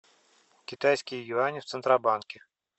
китайские юани в центробанке